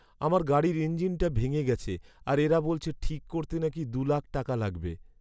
আমার গাড়ির ইঞ্জিনটা ভেঙে গেছে আর এরা বলেছে ঠিক করতে নাকি দু লাখ টাকা লাগবে।